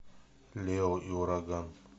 лео и ураган